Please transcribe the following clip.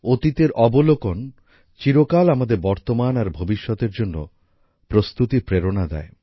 অতীতের অবলোকন চিরকাল আমাদের বর্তমান আর ভবিষ্যতের জন্য প্রস্তুতির প্রেরণা দেয়